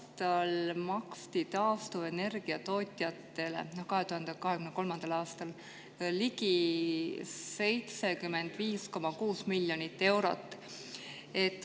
Eelmisel aastal, 2023. aastal, maksti taastuvenergia tootjatele ligi 75,6 miljonit eurot.